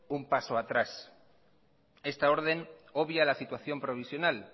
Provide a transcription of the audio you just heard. un paso atrás esta orden obvia la situación provisional